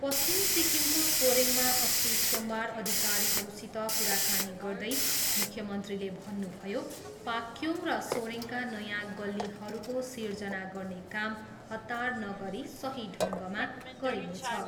पश्चिम सिक्किमको सोरेङमा अस्ति सोमबार अधिकारीहरूसित कुराकानी गर्दै मुख्यमन्त्रीले भन्नुभयो, पाक्योङ र सोरेङका नयाँ गल्लीहरूको सृजना गर्ने काम हतार नगरी सही ढङ्गमा गरिनेछ।